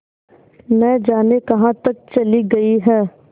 न जाने कहाँ तक चली गई हैं